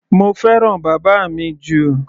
Mo fẹ́ràn bàbá mi jù.